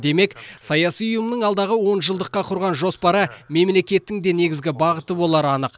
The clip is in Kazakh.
демек саяси ұйымның алдағы онжылдыққа құрған жоспары мемлекеттің де негізгі бағыты болары анық